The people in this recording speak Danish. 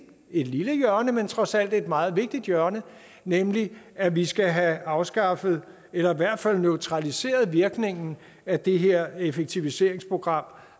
et lille hjørne men trods alt et meget vigtigt hjørne nemlig at vi skal have afskaffet eller i hvert fald neutraliseret virkningen af det her effektiviseringsprogram